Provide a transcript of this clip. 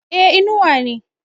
e Inuwa ne